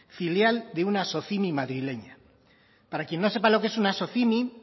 filial de una socimi madrileña para quien no sepa lo que es una socimi